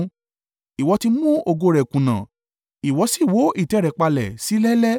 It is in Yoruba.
Ìwọ ti mú ògo rẹ̀ kùnà, ìwọ si wó ìtẹ́ rẹ̀ palẹ̀ sílẹ̀ẹ́lẹ̀.